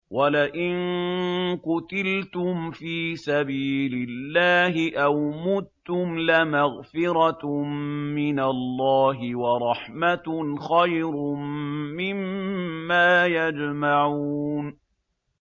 وَلَئِن قُتِلْتُمْ فِي سَبِيلِ اللَّهِ أَوْ مُتُّمْ لَمَغْفِرَةٌ مِّنَ اللَّهِ وَرَحْمَةٌ خَيْرٌ مِّمَّا يَجْمَعُونَ